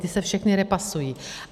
Ta se všechna repasují.